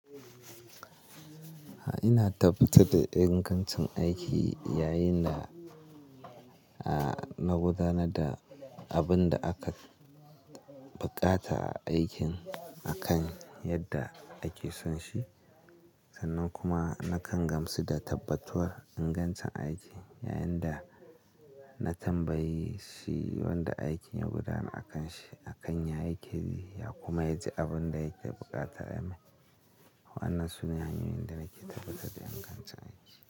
A'a ina tabbatar da ingancin aiki yayin da, na gudanar da abin da aka buƙata a aikin akan yadda ake son shi. Sannan kuma nakan gamsu da tabbatuwa ingancin aiki yayin da na tambayi shi wanda aikin ya gudana akanshi, akan yaya yake yi ya, kuma ya ji abun da yake buƙata a mai. Wa'annan sune hanyoyin da nake tabbatar da ingancin aiki.